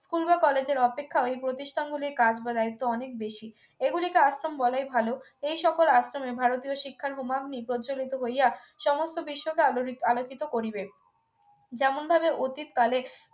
school বা college এর অপেক্ষা ওই প্রতিষ্ঠানগুলির কাজ বাড়ায় তো অনেক বেশি এগুলিকে আশ্রম বলাই ভালো এই সকল আশ্রমে ভারতীয় শিক্ষার হোমাগ্নী প্রজ্জ্বলিত হইয়া সমস্ত বিশ্বকে অলোড়ি আলোকিত করিবে যেমন ভাবে অতীতকালে